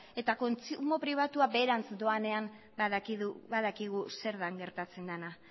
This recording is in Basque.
eta kontsumo pribatua beherantz doanean badakigu zer den gertatzen dena